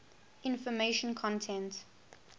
information content